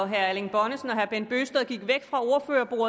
herre erling bonnesen